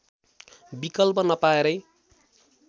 विकल्प नपाएरै